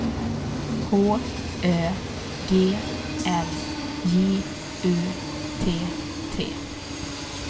H Ö G L J U T T